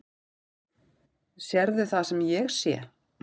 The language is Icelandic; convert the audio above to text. Sérðu það sem ég sé?